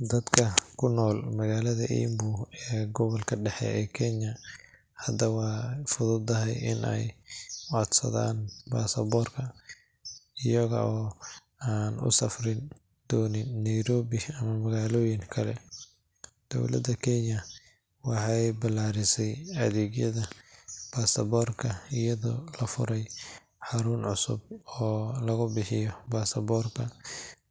Dadka ku nool magaalada Embu ee gobolka dhexe ee Kenya hadda way fududahay in ay codsadaan baasaboorka, iyaga oo aan u safri doonin Nairobi ama magaalooyin kale. Dowladda Kenya waxay ballaarisay adeegyada baasaboorka iyadoo la furay xarun cusub oo lagu bixiyo baasaboorka